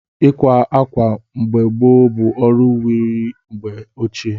Ịkwa ákwà mgbe gboo bụ ọrụ wiri mgbe ochie.